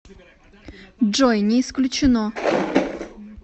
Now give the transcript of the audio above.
джой не исключено